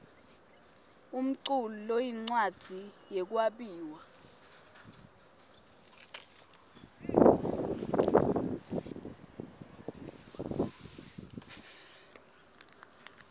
umculu loyincwadzi yekwabiwa